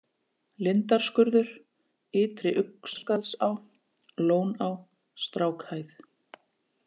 Lindarskurður, Ytri-Uxaskarðsá, Lóná, Strákhæð